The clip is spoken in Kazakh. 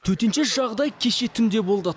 төтенше жағдай кеше түнде болды